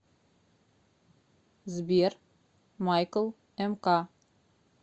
сбер майкл эмка